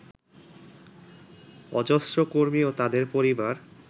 অজস্র কর্মী ও তাঁদের পরিবার